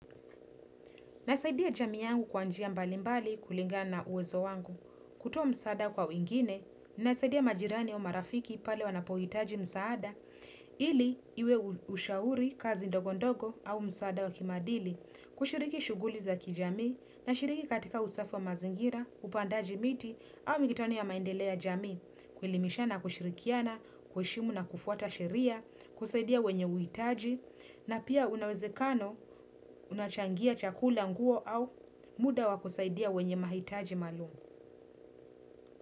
Nasaidia jamii yangu kwa njia mbalimbali kulingana na uwezo wangu. Kutoa msaada kwa wengine, inasaidia majirani au marafiki pale wanapohitaji msaada ili iwe ushauri kazi ndogo ndogo au msaada wa kimaadili. Kushiriki shuguli za kijamii na shiriki katika usafi wa mazingira, upandaji miti au mikutano ya maendeleo ya jamii, kuelimishana na kushirikiana, kuheshimu na kufuata sheria, kusaidia wenye uhitaji na pia unawezekano unachangia chakula nguo au muda wa kusaidia wenye mahitaji maalum.